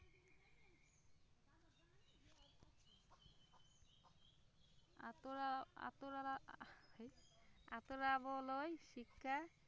আঁতৰা আঁতৰা আঁতৰাবলৈ শিক্ষা